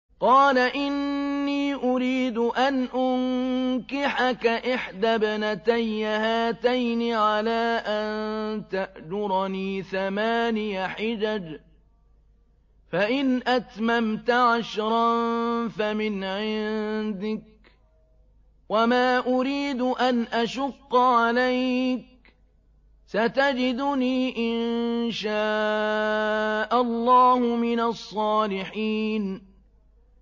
قَالَ إِنِّي أُرِيدُ أَنْ أُنكِحَكَ إِحْدَى ابْنَتَيَّ هَاتَيْنِ عَلَىٰ أَن تَأْجُرَنِي ثَمَانِيَ حِجَجٍ ۖ فَإِنْ أَتْمَمْتَ عَشْرًا فَمِنْ عِندِكَ ۖ وَمَا أُرِيدُ أَنْ أَشُقَّ عَلَيْكَ ۚ سَتَجِدُنِي إِن شَاءَ اللَّهُ مِنَ الصَّالِحِينَ